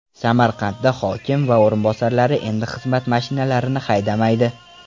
Samarqandda hokim va o‘rinbosarlari endi xizmat mashinalarini haydamaydi.